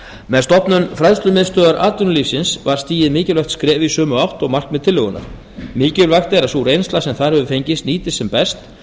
með stofnun fræðslumiðstöðvar atvinnulífsins var stigið mikilvægt skref í sömu átt og markmið tillögunnar mikilvægt er að sú reynsla sem þar hefur fengist nýtist sem best